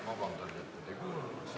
Ma palun vabandust, et nad ei kuulanud!